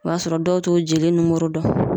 O b'a sɔrɔ dɔw t'o jeli numoro dɔn